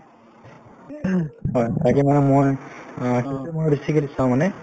হয়, তাকে মানে মই অ সেইটো ময়ো চাওঁ মানে